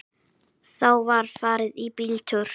Þá var farið í bíltúr.